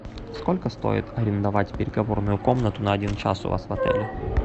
сколько стоит арендовать переговорную комнату на один час у вас в отеле